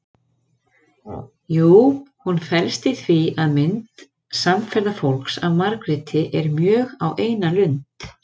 Jú, hún felst í því að mynd samferðafólks af Margréti er mjög á eina lund.